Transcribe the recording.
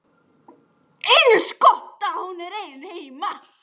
Eins gott að hún er ein heima.